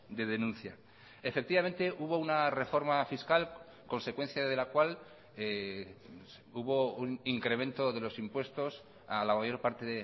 de denuncia efectivamente hubo una reforma fiscal consecuencia de la cual hubo un incremento de los impuestos a la mayor parte